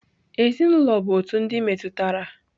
Ezinụlọ bụ otu ndị metụtara.